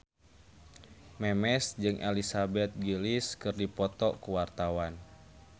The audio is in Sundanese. Memes jeung Elizabeth Gillies keur dipoto ku wartawan